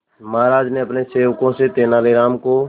महाराज ने अपने सेवकों से तेनालीराम को